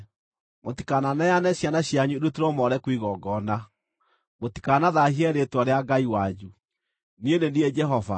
“ ‘Mũtikananeane ciana cianyu irutĩrwo Moleku igongona, mũtikanathaahie rĩĩtwa rĩa Ngai wanyu. Niĩ nĩ niĩ Jehova.